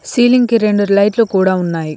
Ceiling కి రెండు light లు కూడా ఉన్నాయి.